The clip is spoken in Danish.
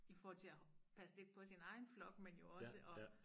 I forhold til at passe lidt på sin egen flok men jo også at